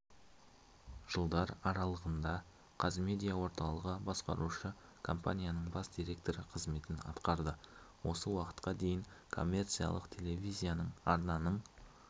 жылдар аралығында қазмедиа орталығы басқарушы компаниясының бас директоры қызметін атқарды осы уақытқа дейін коммерциялық телевизиялық арнаның